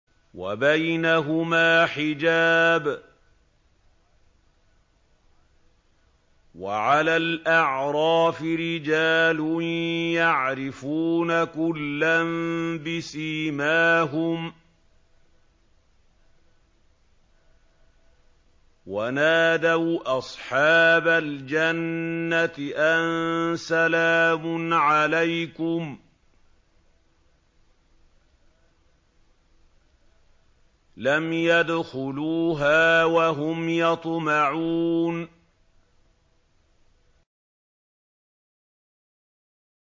وَبَيْنَهُمَا حِجَابٌ ۚ وَعَلَى الْأَعْرَافِ رِجَالٌ يَعْرِفُونَ كُلًّا بِسِيمَاهُمْ ۚ وَنَادَوْا أَصْحَابَ الْجَنَّةِ أَن سَلَامٌ عَلَيْكُمْ ۚ لَمْ يَدْخُلُوهَا وَهُمْ يَطْمَعُونَ